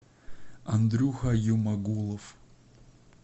андрюха юмагулов